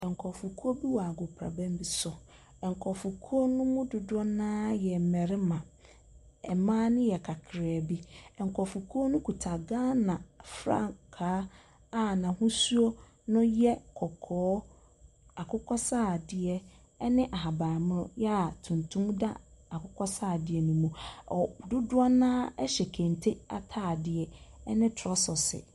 Nkurɔfokuo bi wɔ agoprama bi so. Nkurɔfokuo no mu dodoɔ no ara yɛ mmarima. Mmaa no yɛ kakraa bi. Nkyrɔfokuo no kita Ghana frankaa a n'ahosuo no yɛ kɔkɔɔ, akokɔsradeɛ ne ahabammono a tuntum da akokɔsradeɛ no mu. Ɔ dodoɔ no ara hyɛ kente atadeɛ ne trɔsɛse.